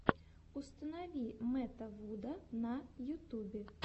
установи мэтта вуда на ютубе